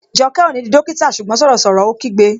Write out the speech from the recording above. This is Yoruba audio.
Jọkẹ́ ó ní di dókítà ṣùgbọ́n sọ̀rọ̀ sọ̀rọ̀! Ó kígbe